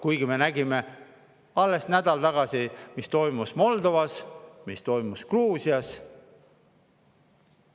Kuigi me nägime alles nädal tagasi, mis toimus Moldovas, mis toimus Gruusias.